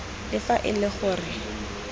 le fa e le gore